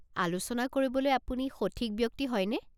আলোচনা কৰিবলৈ আপুনি সঠিক ব্যক্তি হয়নে?